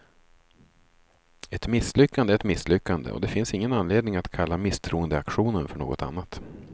Ett misslyckande är ett misslyckande, och det finns ingen anledning att kalla misstroendeaktionen för något annat.